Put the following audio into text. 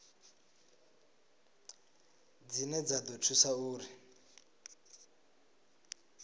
dzine dza ḓo thusa uri